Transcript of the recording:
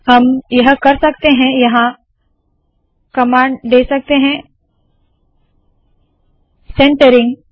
हम यह कर सकते है के यहाँ कमांड दे सकते है centering